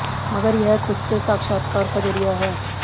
मगर यह खुद से साक्षात्कार का ज़रिया है